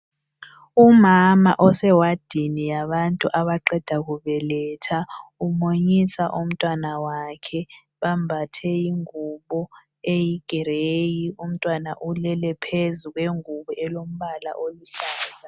Umama osewadini yabantu abaqeda kubeletha umunyisa umntwana wakhe bambathe ingubo eyigrey umntwana ulele phezu kwengubo elombala eluhlaza.